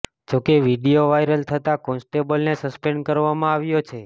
જોકે video viral થતાં કોન્સ્ટેબલને સસ્પેન્ડ કરવામાં આવ્યો છે